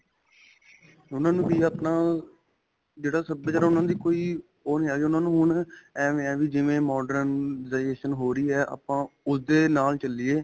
ਉਨ੍ਹਾਂ ਨੂੰ ਵੀ ਆਪਣਾ, ਜਿਹੜਾ ਸਭਿਆਚਾਰ ਉਨ੍ਹਾਂ ਦੀ ਕੋਈ ਓਹ ਨਹੀ ਹੈ ਗਈ ਉਨ੍ਹਾਂ ਨੂੰ ਹੁਣ ਐਂਵੇ ਹੈਂ ਵੀ, ਜਿਵੇ modern ਦੇਸ਼ ਨੂੰ ਹੋ ਰਹੀ ਹੈ. ਆਪਾਂ ਉਸਦੇ ਨਾਲ ਚਲਿਏ.